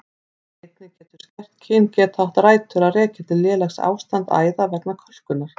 Einnig getur skert kyngeta átt rætur að rekja til lélegs ástands æða vegna kölkunar.